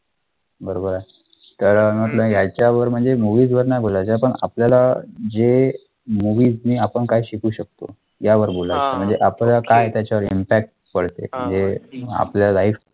बरोबर आहे तर अं म्हंटल यांच्यावर म्हणजे movies वर नाही बोलायचे पण आपल्याला जे movies ने आपण काय शकू शकतो यावर बोलायचं म्हणजे आपला काय त्याच्यावर impact पडतो म्हणजे आपल्या life वर